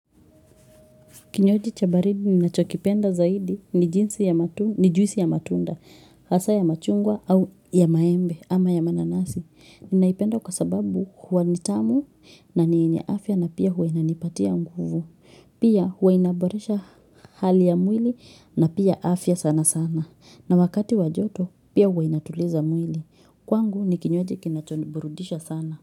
Kinywaji cha baridi ninachokipenda zaidi ni juisi ya matunda ni juisi ya matunda, hasa ya machungwa au ya maembe ama ya mananasi. Ninaipenda kwa sababu huwa ni tamu na ni yenye afya na pia huwa inanipatia nguvu. Pia huwa inaboresha hali ya mwili na pia afya sana sana. Na wakati wa joto pia huwa inatuliza mwili. Kwangu ni kinywaji kinacho niburudisha sana.